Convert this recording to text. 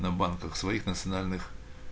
на банках своих национальных